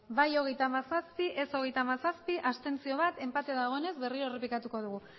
bai hogeita hamazazpi ez hogeita hamazazpi abstentzioak bat enpate dagoenez berriro errepikatuko dugu